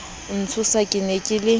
ntshosa ke ne ke le